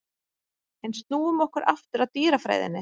En snúum okkur aftur að dýrafræðinni.